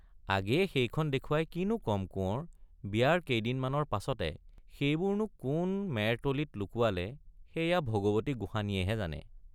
আগেয়ে সেইখন দেখুৱাই কিনো কম কোঁৱৰ বিয়াৰ কেইদিনমানৰ পাছতে —সেইবোৰ নো কোন মেৰতলিত লুকুৱালে সেইয়া ভগৱতী গোসাঁনীয়েহে জানে।